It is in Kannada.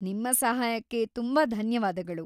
ನಿಮ್ಮ ಸಹಾಯಕ್ಕೆ ತುಂಬಾ ಧನ್ಯವಾದಗಳು.